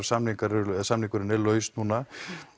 samningurinn samningurinn er laus núna